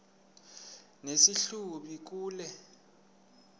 nesi hlubi kule